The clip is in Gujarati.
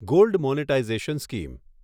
gold monetisation scheme